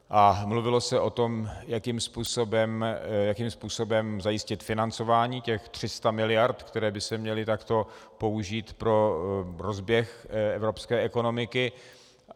A mluvilo se o tom, jakým způsobem zajistit financování těch 300 miliard, které by se měly takto použít pro rozběh evropské ekonomiky.